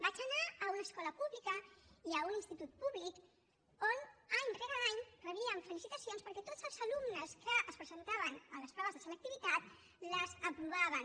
vaig anar a una escola pública i a un institut públic on any rere any rebíem felicitacions perquè tots els alumnes que es presentaven a les proves de selectivitat les aprovaven